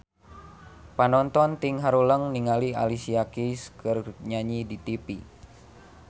Panonton ting haruleng ningali Alicia Keys keur nyanyi di tipi